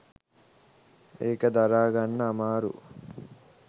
ඒක දරා ගන්න අමාරු